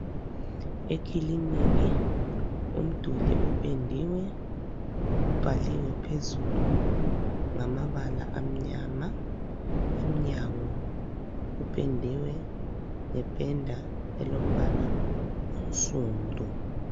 Ekiliniki umduli upendiwe, ubhaliwe phezulu ngamabala amnyama. Emnyango kupendiwe ,ngependa elombala onsundu.